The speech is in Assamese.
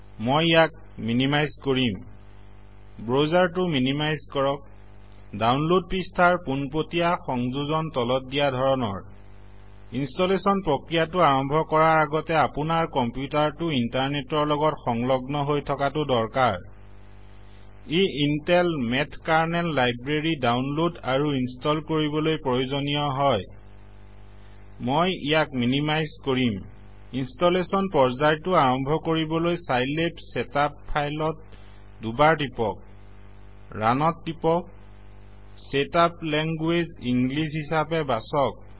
মই ইয়াক মিনিমাইজ কৰিম ব্ৰজাৰটো মিনিমাইজ কৰক দাউনলদ পৃষ্ঠাৰ পোনপতিয়া সংযোজনতলত দিয়া ধৰণৰ ইনষ্টলেচন প্ৰক্ৰিয়াটো আৰম্ভ কৰাৰ আগতে আপোনাৰ কম্পিউতাৰটো ইন্টাৰনেটৰ লগত সংলগ্ন হৈ থকাতো দৰকাৰ ই Intel Math Kernel Library download আৰু ইনষ্টল কৰিবলৈ প্ৰয়োজনীয় হয় মই ইয়াক মিনিমাইজ কৰিম ইনষ্টলেচন পৰ্যায়টো আৰম্ভকৰিবলৈ চাইলেব চেটাপ ফাইলত দুবাৰ টিপক ৰানত টিপক চেত আপ লেংগুৱেজ ইংলিছ হিচাবে বাচক